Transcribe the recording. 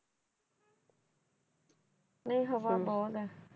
ਨਹੀਂ ਹਵਾ ਬਹੁਤ ਐ